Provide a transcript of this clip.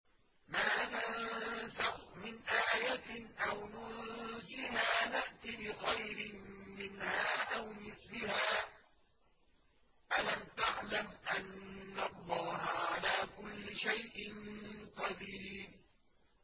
۞ مَا نَنسَخْ مِنْ آيَةٍ أَوْ نُنسِهَا نَأْتِ بِخَيْرٍ مِّنْهَا أَوْ مِثْلِهَا ۗ أَلَمْ تَعْلَمْ أَنَّ اللَّهَ عَلَىٰ كُلِّ شَيْءٍ قَدِيرٌ